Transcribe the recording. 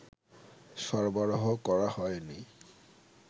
সরবরাহ করা হয়নি